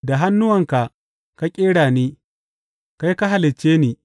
Da hannuwanka ka ƙera ni, kai ka halicce ni.